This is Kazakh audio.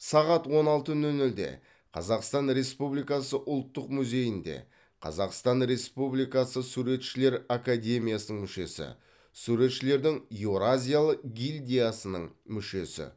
сағат он алты нөл нөлде қазақстан республикасы ұлттық музейінде қазақстан республикасы суретшілер академиясының мүшесі суретшілердің еуразиялық гильдиясының мүшесі